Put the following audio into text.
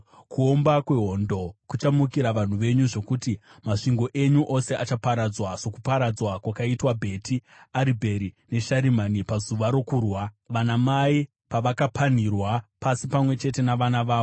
kuomba kwehondo kuchamukira vanhu venyu, zvokuti masvingo enyu ose achaparadzwa, sokuparadzwa kwakaitwa Bheti Aribheri neSharimani pazuva rokurwa, vanamai pavakapanhirwa pasi pamwe chete navana vavo.